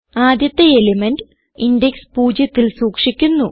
ആദ്യത്തെ element index 0ത്തിൽ സൂക്ഷിക്കുന്നു